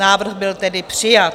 Návrh byl tedy přijat.